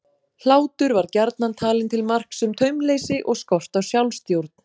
Hlátur var gjarnan talinn til marks um taumleysi og skort á sjálfstjórn.